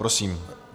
Prosím.